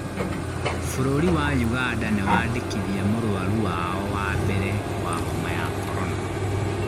Bũrũri wa Ũganda nĩwaandĩkithia mũrwarũ wao wa mbere wa homa ya korona